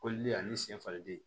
Koliden ani sen falenden